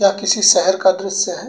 या किसी शहर का दृश्य है।